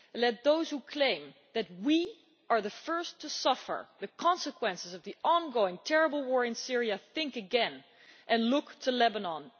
Let those who claim that we are the first to suffer the consequences of the ongoing terrible war in Syria, think again and look to Lebanon.